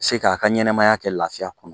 Se k'a ka ɲɛnɛmaya kɛ lafiya kɔnɔ